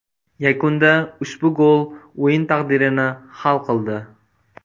Yakunda ushbu gol o‘yin taqdirini hal qildi.